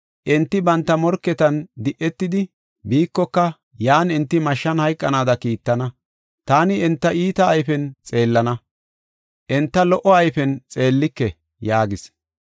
Enti banta morketan di7etidi, biikoka, yan enti mashshan hayqanaada kiittana; taani enta iita ayfen xeellana; enta lo77o ayfen xeellike” yaagis.